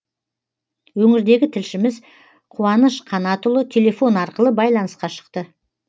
өңірдегі тілшіміз қуаныш қанатұлы телефон арқылы байланысқа шықты